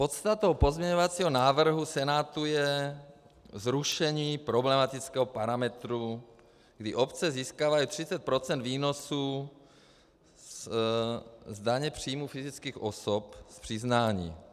Podstatou pozměňovacího návrhu Senátu je zrušení problematického parametru, kdy obce získávají 30 % výnosu z daně příjmu fyzických osob z přiznání.